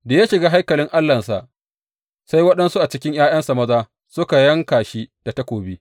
Da ya shiga haikalin Allahnsa, sai waɗansu a cikin ’ya’yansa maza suka yanka shi da takobi.